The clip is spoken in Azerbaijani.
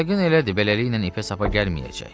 Yəqin elədi, beləliklə ipə-sapa gəlməyəcək.